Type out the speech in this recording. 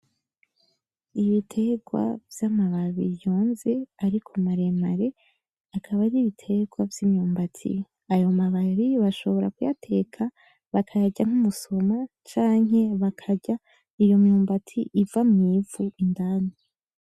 Ibiterwa vy’amababi yonze ariko maremare akaba ari ibiterwa vy’imyumbati, ayo mababi bashobora kuyateka bakayarya nk’imisoma canke bakarya iyo myumbati iva mu ivu ako kanya.